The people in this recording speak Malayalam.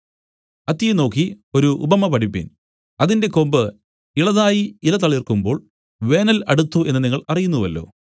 അത്തിയെ നോക്കി ഒരു ഉപമ പഠിപ്പിൻ അതിന്റെ കൊമ്പ് ഇളതായി ഇല തളിർക്കുമ്പോൾ വേനൽ അടുത്തു എന്നു നിങ്ങൾ അറിയുന്നുവല്ലോ